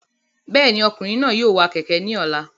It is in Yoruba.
Bẹ́ẹ̀ni, ọkùnrin náà yóò wa kẹ̀kẹ́ ní ọ̀la